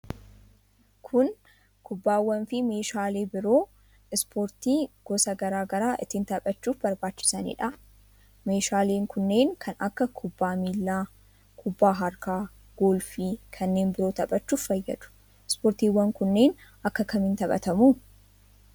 Kuni, kubbaawwan fi meeshaalee biroo ispoortii gosa garaa garaa ittiin taphachuuf barbaachisanii dha? Meeshaaleen kunneen, kan akka ; kubbaa miilaa, kubbaa harkaa ,golfii kanneen biroo taphachuuf fayyadu. Ispoortiiwwan kunneen akka kamiin taphatamu?